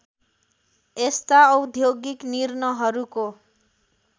यस्ता औद्योगिक निर्णहरूको